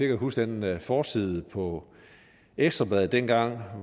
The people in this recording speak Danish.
kan huske den forside på ekstra bladet dengang